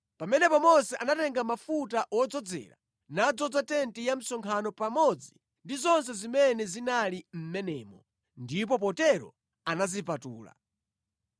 Pamenepo Mose anatenga mafuta wodzozera nadzoza tenti ya msonkhano pamodzi ndi zonse zimene zinali mʼmenemo, ndipo potero anazipatula.